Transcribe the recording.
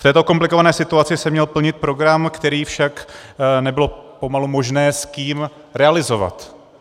V této komplikované situaci jsem měl plnit program, který však nebylo pomalu možné s kým realizovat.